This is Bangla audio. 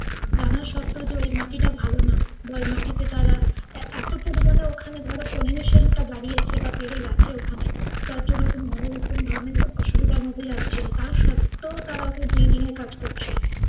জানা সত্তেও যে ঐ মাটিটা ভালো না বা ঐ মাটিতে তারা এ~ এতো পরিমাণে ওখানে ধরো pollution টা বাড়িয়েছে বা বেড়ে গেছে ওখানে টার জন্য কিন্তু নানা রকম ধরণের অসুবিধার মধ্যে যাচ্ছিল। টা সত্তেও তারা building এর কাজ করছিল।